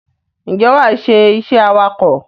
Ǹjẹ́ wàá ṣe iṣẹ́ awakọ̀?